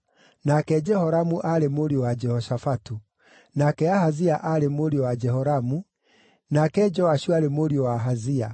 nake Jehoramu aarĩ mũriũ wa Jehoshafatu, nake Ahazia aarĩ mũriũ wa Jehoramu, nake Joashu aarĩ mũriũ wa Ahazia,